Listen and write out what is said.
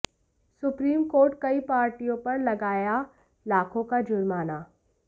supreme court कई पार्टियों पर लगाया लाखों का जुर्माना